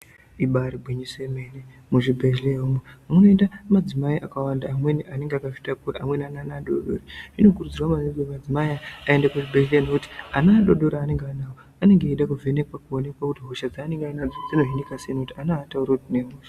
Ibari gwinyiso yemene muzvibhedhleya umwo munoenda madzimai akawanda amweni anenge akazvitakura amweni ane ana adoodori zvinokudzwa maningi kuti madzimai aya aende kuzvibhedhleya nokuti ana adoodori anenge ainawo anenge eida kuvhenekwa kuonekwa kuti hosha dzaanenge ainadzo dzinohinika sei ngokuti ana aatauri kuti ndine hosha.